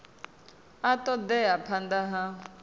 a ṱo ḓea phanḓa ha